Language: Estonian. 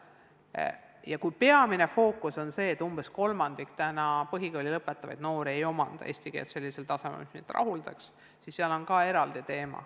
Peamine fookus ja eraldi teema on see, et umbes kolmandik põhikooli lõpetavaid noori ei omanda eesti keelt sellisel tasemel, et see meid rahuldaks.